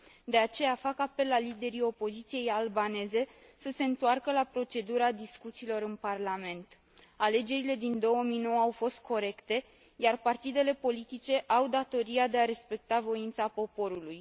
De aceea, fac apel la liderii opoziției albaneze să se întoarcă la procedura discuțiilor în parlament. Alegerile din 2009 au fost corecte, iar partidele politice au datoria de a respecta voința poporului.